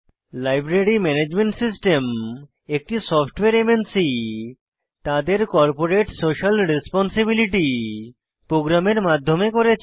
library management system একটি software MNC তাদের corporate social responsibility প্রোগ্রামের মাধ্যমে করেছে